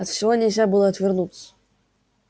от всего нельзя было отвернуться